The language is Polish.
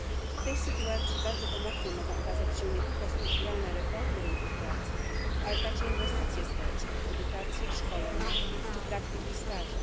W tej sytuacji bardzo pomocne mogą okazać się nie tylko strukturalne reformy rynków pracy, ale także inwestycje społeczne w edukację, szkolenia czy praktyki i staże.